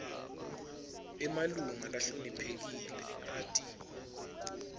emalunga lahloniphekile ati